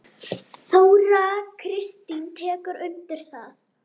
Þóra Kristín tekur undir það.